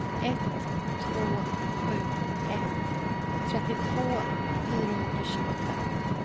ett två sju ett trettiotvå fyrahundratjugofem